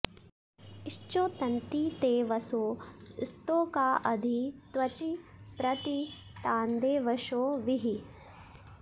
श्चोत॑न्ति ते वसो स्तो॒का अधि॑ त्व॒चि प्रति॒ तान्दे॑व॒शो वि॑हि